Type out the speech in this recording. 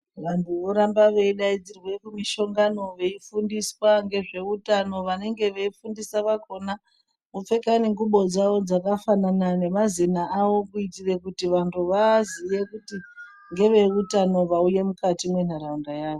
Vantu voramba veidaidzirwe kumusongano veifundiswa ngezveutano vanenge veifundisa vakhona vopfeka nentlubo dzawo dzakafanana nemazina awo kuitire kuti vantu vaaziye kuti ngeveutano vauye mukayi mwentaraunda yawo.